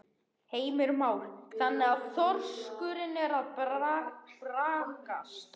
Heimir Már: Þannig að þorskurinn er að braggast?